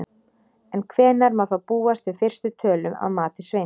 En hvenær má þá búast við fyrstu tölum að mati Sveins?